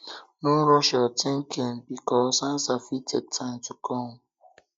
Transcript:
no rush yur thinking thinking bikos ansa fit take time to kom